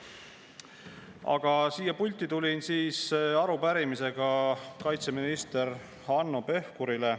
Aga siia pulti tulin arupärimisega kaitseminister Hanno Pevkurile.